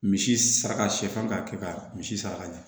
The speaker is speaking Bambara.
Misi saraka sari kan ka kɛ ka misi sara ka ɲa